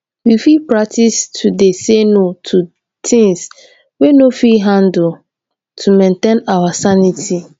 we fit practice to dey say "no" to things we no fit handle to maintain our sanity.